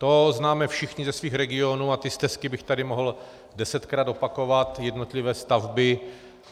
To známe všichni ze svých regionů a ty stesky bych tady mohl desetkrát opakovat, jednotlivé stavby.